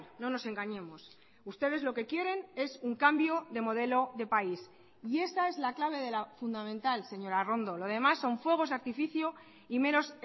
no nos engañemos ustedes lo que quieren es un cambio de modelo de país y esa es la clave de la fundamental señora arrondo lo demás son fuegos de artificio y meros